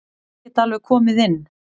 Ég get alveg komið inn.